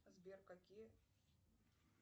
сбер какие